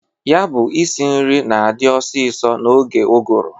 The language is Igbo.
Ya bụ isi nri na-adị ọsịsọ n'oge ụgụrụ.